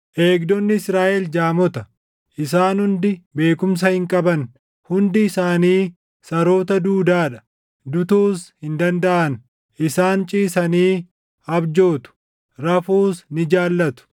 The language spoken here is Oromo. Eegdonni Israaʼel jaamota, isaan hundi beekumsa hin qaban; hundi isaanii saroota duudaa dha; dutuus hin dandaʼan; isaan ciisanii abjootu; rafuus ni jaallatu.